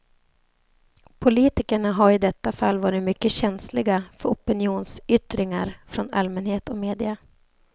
Politikerna har i detta fall varit mycket känsliga för opinionsyttringar från allmänhet och media.